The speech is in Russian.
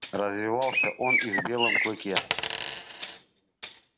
развивался он и в белом клыке